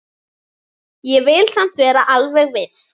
Ég vil samt vera alveg viss.